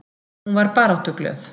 Hún var baráttuglöð.